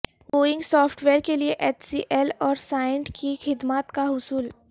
Boeing software کیلئے H C L اور سائینٹ کی خدمات کا حصول